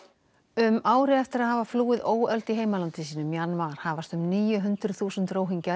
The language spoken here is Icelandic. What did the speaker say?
um ári eftir að hafa flúið óöld í heimalandi sínu Mjanmar hafast um níu hundruð þúsund